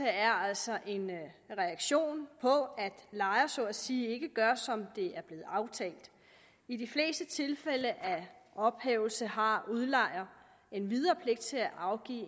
er altså en reaktion på at lejer så at sige ikke gør som det er blevet aftalt i de fleste tilfælde af ophævelse har udlejer endvidere pligt til at afgive